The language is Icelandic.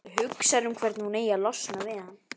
Hugsar um hvernig hún eigi að losna við hann.